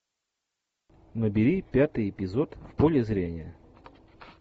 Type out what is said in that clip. набери пятый эпизод в поле зрения